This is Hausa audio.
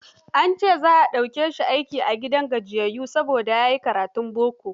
An ce za a dauke shi aiki a gidan gajiyayyun, saboda ya yi karatun boko.